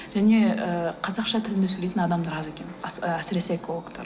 және ыыы қазақша тілінде сөйлейтін адамдар аз екен әсіресе экологтар